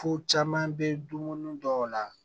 Fo caman bɛ dumuni dɔw la